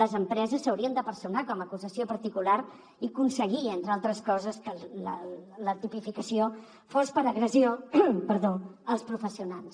les empreses s’haurien de personar com a acusació particular i aconseguir entre altres coses que la tipificació fos per agressió als professionals